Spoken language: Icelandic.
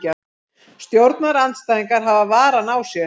Stjórnarandstæðingar hafa varann á sér